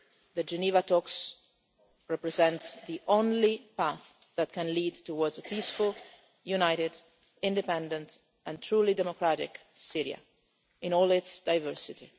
The Geneva talks represent the only path that can lead towards a peaceful, united, independent and truly democratic Syria, in all its diversity.